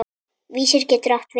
Vísir getur átt við